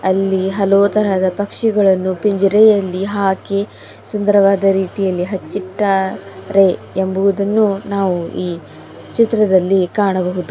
ಅಲ್ಲಿ ಹಲವು ತರಹದ ಪಕ್ಷಿಗಳನ್ನು ಪಿಂಜಾರೆಯಲ್ಲಿ ಹಾಕಿ ಸುಂದರವಾದ ರೀತಿಯಲ್ಲಿ ಹಚ್ಚಿಟಾರೆ ಎಂಬುವುದನ್ನು ನಾವು ಈ ಚಿತ್ರದಲ್ಲಿ ಕಾಣಬಹುದು.